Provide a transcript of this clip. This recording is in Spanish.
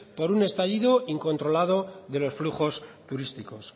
por un estallido incontrolado de los flujos turísticos